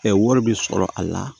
wari bi sɔrɔ a la